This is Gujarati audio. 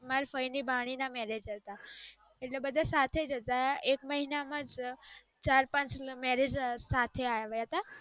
મારી ફઈ ની ભાણી ના marriage હતા ઍટલે બધા સાથે જ હતા એક મહિના માં જ ચાર પાંચ marriage હતા સાથે આવ્યા હતા